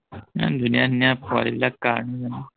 ইমান ধুনীয়া ধুনীয়া পোৱালীবিলাক কাৰ নো